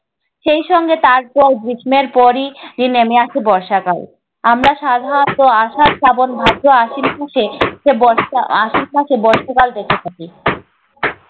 সেই সঙ্গে তারপর গ্রীষ্মের পরই আহ নেমে আসে বর্ষাকাল। আমরা সাধারণত আষাঢ়, শ্রাবণ, ভাদ্র, আশ্বিন, পৌষে বর্ষা~ আশ্বিন, পৌষে বর্ষাকাল দেখে থাকি।